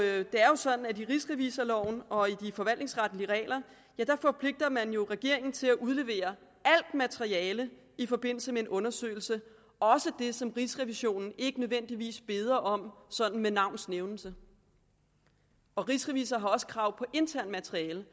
er jo sådan at i rigsrevisorloven og i de forvaltningsretlige regler forpligter man jo regeringen til at udlevere alt materiale i forbindelse med en undersøgelse også det som rigsrevisionen ikke nødvendigvis beder om sådan med navns nævnelse rigsrevisor har også krav på internt materiale